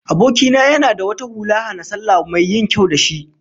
Aboki na yana da wata hula hana-sallah mai yin kyau da shi